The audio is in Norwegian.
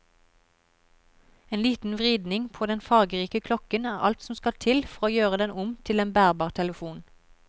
En liten vridning på den fargerike klokken er alt som skal til for å gjøre den om til en bærbar telefon.